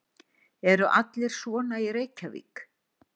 Eru allir svona í Reykjavík?